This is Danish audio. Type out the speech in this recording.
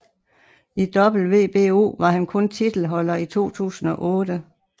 I WBO var han kun titelholder i 2008